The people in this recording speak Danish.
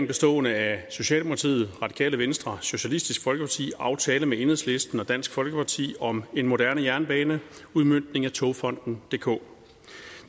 bestående af socialdemokratiet radikale venstre og socialistisk folkeparti aftale med enhedslisten og dansk folkeparti om en moderne jernbane udmøntning af togfonden dk